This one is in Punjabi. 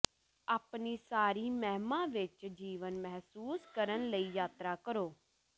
ਆਪਣੀ ਸਾਰੀ ਮਹਿਮਾ ਵਿੱਚ ਜੀਵਨ ਮਹਿਸੂਸ ਕਰਨ ਲਈ ਯਾਤਰਾ ਕਰੋ